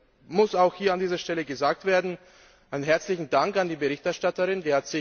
Es muss auch hier an dieser Stelle gesagt werden Einen herzlichen Dank an die Berichterstatterin!